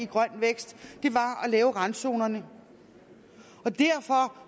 grøn vækst at lave randzonerne og derfor